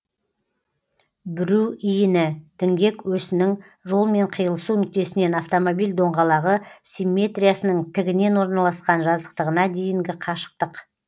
бүру иіні діңгек өсінің жолмен киылысу нүктесінен автомобиль доңғалағы симметриясының тігінен орналасқан жазықтығына дейінгі қашықтық